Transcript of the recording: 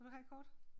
Vil du have et kort?